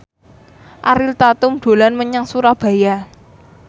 Ariel Tatum dolan menyang Surabaya